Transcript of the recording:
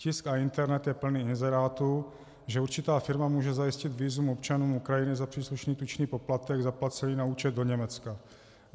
Tisk a internet je plný inzerátů, že určitá firma může zajistit vízum občanům Ukrajiny za příslušný tučný poplatek zaplacený na účet do Německa.